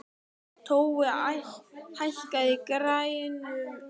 Tói, hækkaðu í græjunum.